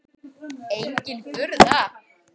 Engin furða.